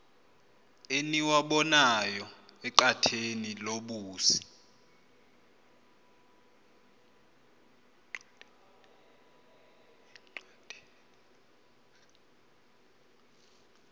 eniwabonayo enqatheni lobusi